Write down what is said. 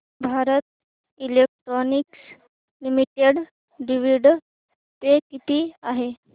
Bharat electronics limited dividend pay किती आहे